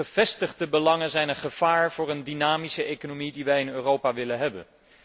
Gevestigde belangen zijn een gevaar voor de dynamische economie die wij in Europa willen hebben.